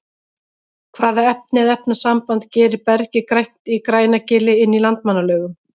hvaða efni eða efnasamband gerir bergið grænt í grænagili inn í landmannalaugum